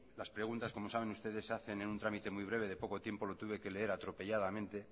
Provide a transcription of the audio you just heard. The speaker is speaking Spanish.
las preguntas como saben ustedes se hacen en un trámite muy breve de poco tiempo lo tuve que leer atropelladamente